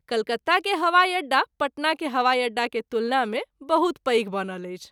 कलकत्ता के हवाई अड्डा पटना के हवाई अड्डा के तुलना मे बहुत पैघ बनल अछि।